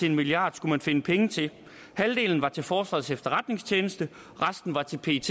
en milliard skulle man finde pengene til halvdelen var til forsvarets efterretningstjeneste og resten var til pet